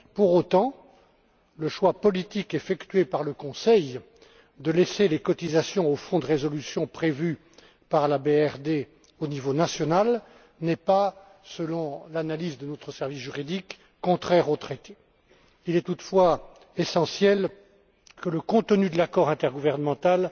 Pour autant, le choix politique effectué par le Conseil de laisser les cotisations au fonds de résolution prévu par la directive BRRD au niveau national n'est pas, selon l'analyse de notre service juridique, contraire aux traités. Il est toutefois essentiel que le contenu de l'accord intergouvernemental